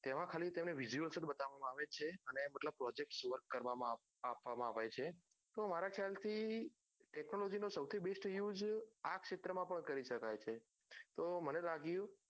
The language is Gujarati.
તેમાં ખાલી તેમને visuals જ બતાવામાં આવે છે અને મતલબ projects works કરવામાં આપવામાં આવે છે તો મારા ખ્યાલ થી technology નો સૌથી બેસ્ટ use આ ક્ષેત્ર માં પણ કરી શકાય છે તો મને લાગયું